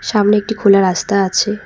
সামনে একটি খোলা রাস্তা আছে।